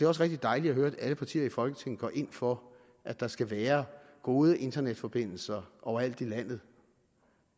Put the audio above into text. også rigtig dejligt at høre at alle partier i folketinget går ind for at der skal være gode internetforbindelser overalt i landet